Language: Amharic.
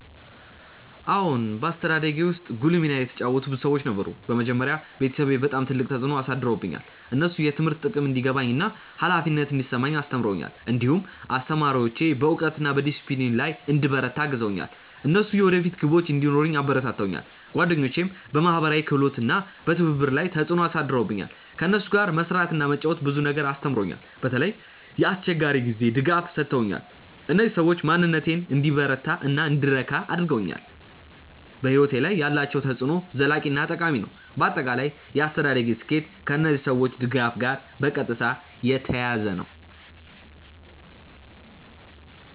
አዎን፣ በአስተዳደጌ ውስጥ ጉልህ ሚና የተጫወቱ ብዙ ሰዎች ነበሩ። በመጀመሪያ ቤተሰቤ በጣም ትልቅ ተፅዕኖ አሳድረውብኛል። እነሱ የትምህርት ጥቅም እንዲገባኝ እና ኃላፊነት እንዲሰማኝ አስተምረውኛል። እንዲሁም አስተማሪዎቼ በእውቀት እና በዲሲፕሊን ላይ እንድበረታ አግዘውኛል። እነሱ የወደፊት ግቦች እንዲኖረኝ አበረታተውኛል። ጓደኞቼም በማህበራዊ ክህሎት እና በትብብር ላይ ተፅዕኖ አሳድረውብኛል። ከእነሱ ጋር መስራት እና መጫወት ብዙ ነገር አስተምሮኛል። በተለይ የአስቸጋሪ ጊዜ ድጋፍ ሰጥተውኛል። እነዚህ ሰዎች በማንነቴን እንዲበረታ እና እንድረካ አድርገውኛል። በሕይወቴ ላይ ያላቸው ተፅዕኖ ዘላቂ እና ጠቃሚ ነው። በአጠቃላይ የአስተዳደጌ ስኬት ከእነዚህ ሰዎች ድጋፍ ጋር በቀጥታ የተያያዘ ነው።